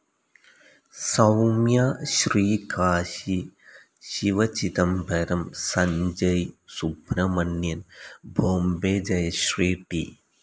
Soumya, Srikashi Sivachidambaram, Sanjay Subrahmanyan Bombay Jayashri, T.